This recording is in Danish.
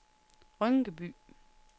Rynkeby